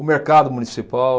O mercado municipal...